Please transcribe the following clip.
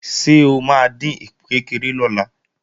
Ṣé o máa dín ìkpékeré lọ́la?